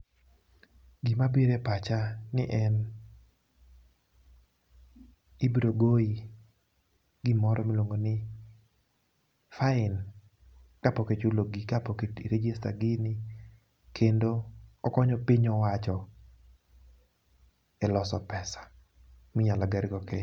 Gima biro e pacha ni en, ibrogoyi gimoro miluongo ni, fain ka pok i rejista gini. Kendo okonyo piny owacho, e loso pesa, minyalo gergo Kenya.